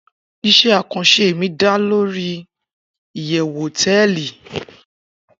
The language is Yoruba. ise akanse mi da le Lori iyewu hoteeli